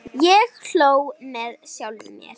Ég hló með sjálfum mér.